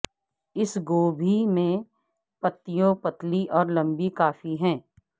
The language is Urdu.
اس گوبھی میں پتیوں پتلی اور لمبی کافی ہیں